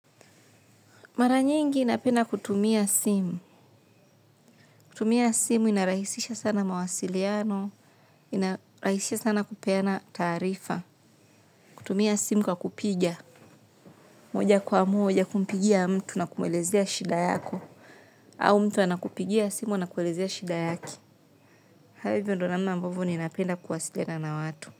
Mara nyingi napenda kutumia simu. Kutumia simu inarahisisha sana mawasiliano, inarahisisha sana kupeana taarifa. Kutumia simu kwa kupiga. Moja kwa moja kumpigia mtu na kumwelezea shida yako. Au mtu anakupigia simu anakuelezea shida yake haya hivo ndio namna ambavyo ninapenda kuwasiliana na watu.